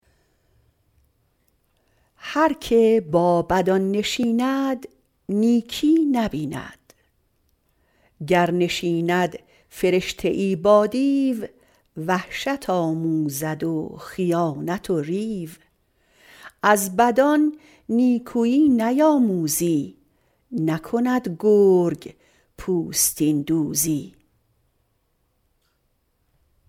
هر که با بدان نشیند نیکی نبیند گر نشیند فرشته ای با دیو وحشت آموزد و خیانت و ریو از بدان نیکویی نیاموزی نکند گرگ پوستین دوزی